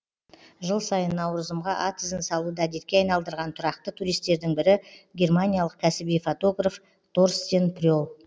жыл сайын наурызымға ат ізін салуды әдетке айналдырған тұрақты туристердің бірі германиялық кәсіби фотограф торстен пре л